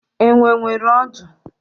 Enwe nwere ọdụ.